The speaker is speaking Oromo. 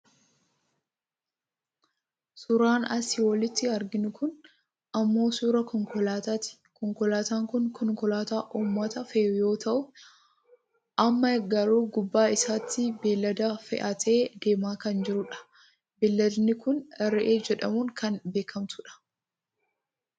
Suuraan asii olitti arginu kun ammoo suuraa konkolaataa ti. Konkolaataan kun konkolaataa uummataa fe'u yoo ta'u amma garuu gubbaa isaatti beellada fe'atee deemaa kan jirudha. Beelladni kun re'ee jedhamuun kan beekkamtudha.